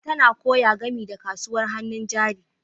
Asabe tana koya game da kasuwar hannun jari.